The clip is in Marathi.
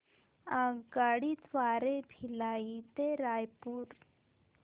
आगगाडी द्वारे भिलाई ते रायपुर